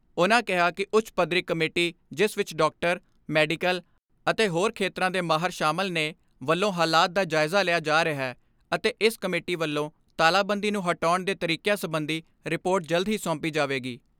ਉਨਾਂ ਕਿਹਾ ਕਿ ਉੱਚ ਪੱਧਰੀ ਕਮੇਟੀ ਜਿਸ ਵਿੱਚ ਡਾਕਟਰ, ਮੈਡੀਕਲ ਅਤੇ ਹੋਰ ਖੇਤਰਾਂ ਦੇ ਮਾਹਰ ਸ਼ਾਮਲ ਨੇ, ਵੱਲੋਂ ਹਲਾਤ ਦਾ ਜਾਇਜ਼ਾ ਲਿਆ ਜਾ ਰਿਹੈ ਅਤੇ ਇਸ ਕਮੇਟੀ ਵੱਲੋਂ ਤਾਲਾਬੰਦੀ ਨੂੰ ਹਟਾਉਣ ਦੇ ਤਰੀਕਿਆਂ ਸਬੰਧੀ ਰਿਪੋਰਟ ਜਲਦ ਹੀ ਸੌਂਪੀ ਜਾਵੇਗੀ।